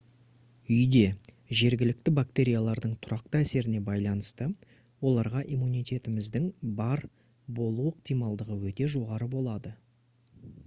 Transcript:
үйде жергілікті бактериялардың тұрақты әсеріне байланысты оларға иммунитетіңіздің бар болу ықтималдығы өте жоғары болады